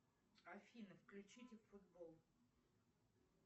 афина включите футбол